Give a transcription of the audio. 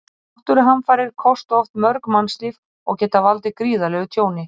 Náttúruhamfarir kosta oft mörg mannslíf og geta valdið gríðarlegu tjóni.